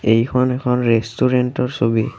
এইখন এখন ৰেষ্টুৰেন্তৰ ছবি।